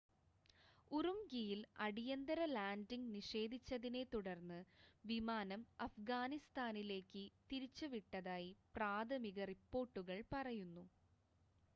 ഉറുംഖിയിൽ അടിയന്തിര ലാൻഡിംഗ് നിഷേധിച്ചതിനെ തുടർന്ന് വിമാനം അഫ്ഗാനിസ്ഥാനിലേക്ക് തിരിച്ച് വിട്ടതായി പ്രാഥമിക റിപ്പോർട്ടുകൾ പറയുന്നു